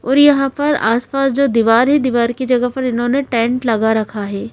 और यहाँ पर आसपास जो दीवार है दीवार की जगह पर इन्होंने टेंट लगा रखा है।